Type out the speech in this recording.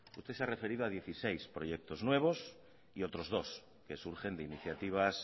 usted se ha referido a dieciséis proyectos nuevos y otros dos que surgen de iniciativas